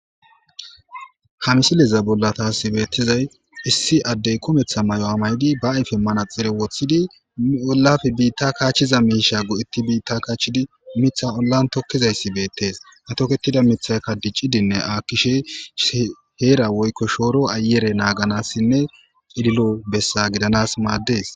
Ha misileza bolla tasi bettizzy issi Adey kumetha mayuwa mayidi ba ayfen manaxire wothidi ollappe biitta kachiza misha go'etidi bitta kachishidi Mitha ollan tokizaysi bettes hatoketida mithayka dic'idinne akkishe hera woyko shoruwa ayere naganasinne c'ililo besa gidanas mades.